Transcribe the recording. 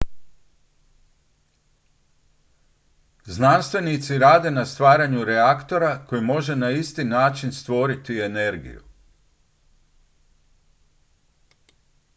znanstvenici rade na stvaranju reaktora koji može na isti način stvoriti energiju